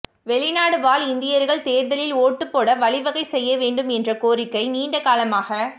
வெளிநாடு வாழ் இந்தியர்கள் தேர்தலில் ஓட்டுப்போட வழிவகை செய்ய வேண்டும் என்ற கோரிக்கை நீண்ட காலமாக